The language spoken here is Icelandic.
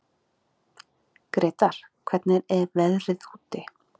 Gretar, hvernig er veðrið úti?